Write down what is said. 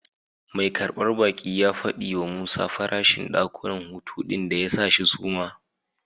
Mai karbar baki ya fadi wa Musa farashin dakunan hutu din da ya sa shi suma.